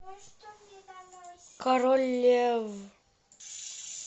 король лев